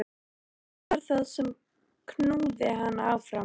Hvað var það sem knúði hana áfram?